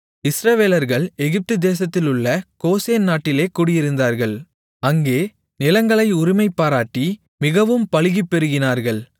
இஸ்ரவேலர்கள் எகிப்து தேசத்திலுள்ள கோசேன் நாட்டிலே குடியிருந்தார்கள் அங்கே நிலங்களை உரிமைபாராட்டி மிகவும் பலுகிப் பெருகினார்கள்